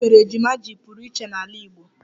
Gịnị mere ejima ji pụrụ iche n'ala Igbo?